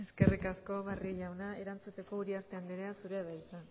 eskerrik asko barrio jauna erantzuteko uriarte andrea zurea da hitza